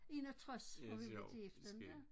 Ja det sjovt det er skægt